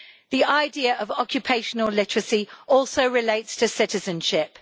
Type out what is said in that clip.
The idea of occupational literacy also relates to citizenship.